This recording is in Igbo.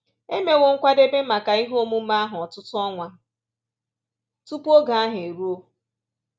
E mewo nkwadebe maka ihe omume ahụ ọtụtụ ọnwa tupu oge ahụ eruo